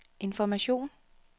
information